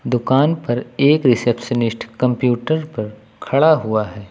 दुकान पर एक रिसेप्शनिस्ट कंप्यूटर पर खड़ा हुआ है।